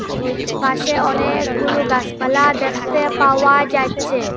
পাশে অনেকগুলো গাসপালা দ্যাখতে পাওয়া যাচ্চে।